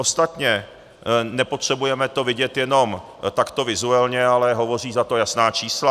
Ostatně nepotřebujeme to vidět jenom takto vizuálně, ale hovoří za to jasná čísla.